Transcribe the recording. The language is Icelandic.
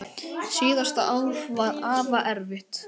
Síðasta ár var afa erfitt.